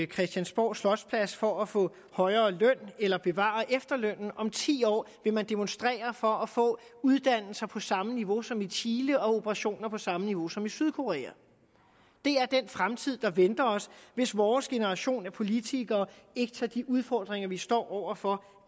christiansborg slotsplads for at få højere løn eller bevare efterlønnen om ti år vil man demonstrere for at få uddannelser på samme niveau som i chile og operationer på samme niveau som i sydkorea det er den fremtid der venter os hvis vores generation af politikere ikke tager de udfordringer vi står over for